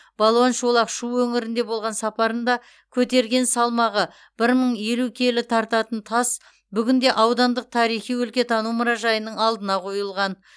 балуан шолақ шу өңірінде болған сапарында көтерген салмағы бір мың елу келі тартатын тас бүгінде аудандық тарихи өлкетану мұражайының алдына қойылған